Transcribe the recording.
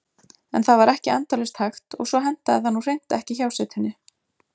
En það var ekki endalaust hægt og svo hentaði það nú hreint ekki hjásetunni.